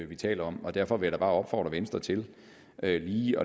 vi taler om og derfor vil bare opfordre venstre til lige